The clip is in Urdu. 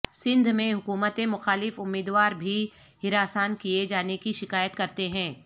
سندھ میں حکومت مخالف امیداوار بھیں ہراسان کیے جانے کی شکایات کرتے ہیں